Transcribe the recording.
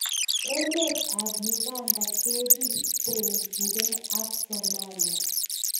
Emet ab Uganda kepirte kee ak somalia